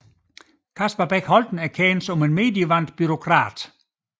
Kasper Bech Holten er kendt som en medievandt bureaukrat